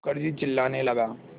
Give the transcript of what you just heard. मुखर्जी चिल्लाने लगा